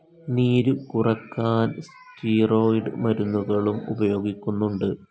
നീരു കുറക്കാൻ സ്റ്റിറോയ്ഡ്‌ മരുന്നുകളും ഉപയോഗിക്കുന്നുണ്ട്.